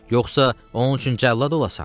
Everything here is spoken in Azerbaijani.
Yoxsa onun üçün cəllad olasan?